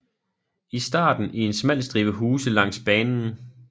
I starten i en smal stribe huse langs banen